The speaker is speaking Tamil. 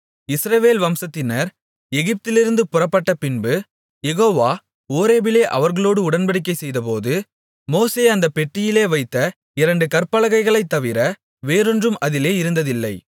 இஸ்ரவேல் வம்சத்தினர் எகிப்திலிருந்து புறப்பட்ட பின்பு யெகோவா ஓரேபிலே அவர்களோடு உடன்படிக்கை செய்தபோது மோசே அந்தப் பெட்டியிலே வைத்த இரண்டு கற்பலகைகளைத் தவிர வேறொன்றும் அதிலே இருந்ததில்லை